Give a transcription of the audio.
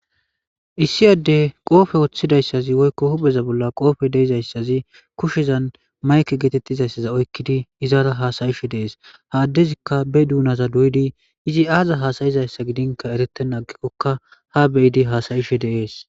issi adde qoofe woththidayssazi woykko hubeza bolla qoofe deizayssazi kushezan mayke geetettizayssaza oykkidi izaara haasayishe deees ha addezikka be duunaza duydi izi aaza haasayizayssa gidinka eretena agikkokka ha beyidi haasayishe deees